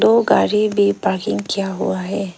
दो गाड़ी भी पार्किंग किया हुआ है।